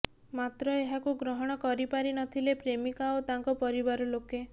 ମାତ୍ର ଏହାକୁ ଗ୍ରହଣ କରିପାରିନଥିଲେ ପ୍ରେମକା ଓ ତାଙ୍କ ପରିବାର ଲୋକେ